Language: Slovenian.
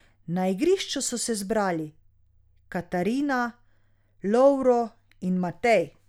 Na igrišču so se zbrali Katarina, Lovro in Matej.